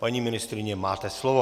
Paní ministryně, máte slovo.